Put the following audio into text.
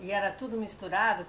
E era tudo misturado?